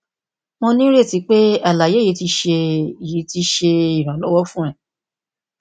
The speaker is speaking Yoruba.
mo nireti pe alaye yii ti ṣe yii ti ṣe iranlọwọ fun ọ